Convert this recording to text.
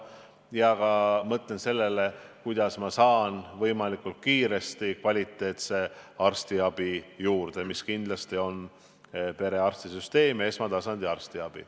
Ja ma pean mõtlema ka sellele, kuidas ma saan võimalikult kiiresti kvaliteetset arstiabi vähemalt perearstilt.